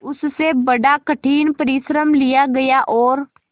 उससे बड़ा कठिन परिश्रम लिया गया और